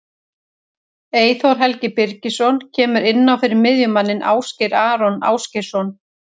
Eyþór Helgi Birgisson kemur inn á fyrir miðjumanninn Ásgeir Aron Ásgeirsson.